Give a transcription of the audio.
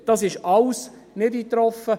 Dies ist alles nicht eingetroffen.